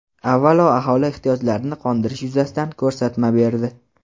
avvalo aholi ehtiyojlarini qondirish yuzasidan ko‘rsatma berdi.